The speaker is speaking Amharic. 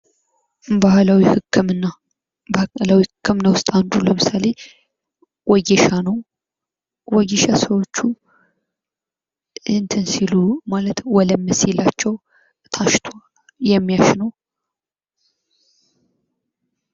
ባህላዊ ህክምና፡- ባህላዊ ህክምና ውስጥ አንዱ ለምሳሌ ወጌሻ ነው ፤ ወጌሻ ሰዎች ወለም ሲላቸው ታሽተው የሚሻላቸው ባህላዊ ህክምና ነው።